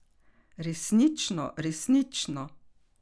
Resnično, resnično!